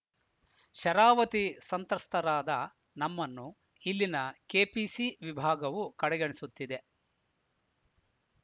ಶರಾವತಿ ಸಂತ್ರಸ್ತರಾದ ನಮ್ಮನ್ನು ಇಲ್ಲಿನ ಕೆಪಿಸಿ ವಿಭಾಗವು ಕಡೆಗಣಿಸುತ್ತಿದೆ